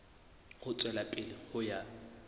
ho tswela pele ho ya